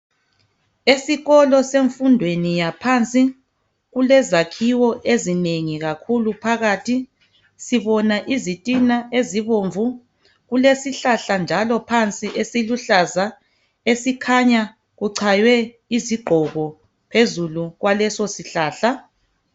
Esikolo semfundeni yaphansi kulezakhiwo ezinengi kakhulu phakathi sibona izitina ezibomvu kulesihlahla njalo phansi esiluhlaza esikhanya kuchaywe izigqoko phezulu kwaleso sihlahla.